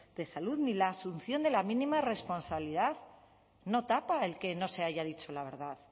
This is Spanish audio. de salud ni la asunción de la mínima responsabilidad no tapa el que no se haya dicho la verdad